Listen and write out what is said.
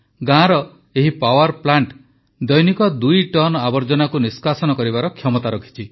ଗାଁର ଏହି power plant ଦୈନିକ ଦୁଇ ଟନ ଆବର୍ଜନାକୁ ନିଷ୍କାସନ କରିବାର କ୍ଷମତା ରଖିଛି